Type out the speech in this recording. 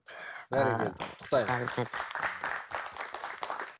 ыыы бәрекелді құттықтаймыз а рахмет